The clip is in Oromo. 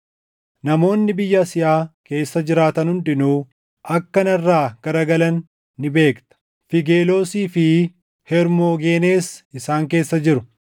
Namoonni biyya Asiyaa keessa jiraatan hundinuu akka narraa gara galan ni beekta; Fiigeloosii fi Hermoogenees isaan keessa jiru.